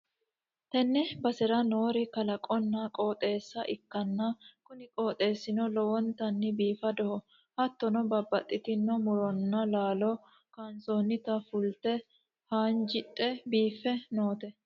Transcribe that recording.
tenne basera noori kalaqonna qooxeessa ikkanna , kuni qooxeessino lowontanni biifadoho, hattono babbaxxitino muronna laalo kayiinsoonniti fulte haanjidhe biiffe noote.